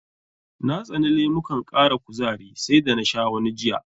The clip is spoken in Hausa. Na tsani lemukan ƙara kuzari sai da na sha wani jiya.